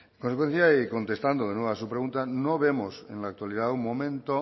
como consecuencia y contestando de nuevo a su pregunta no vemos en la actualidad un momento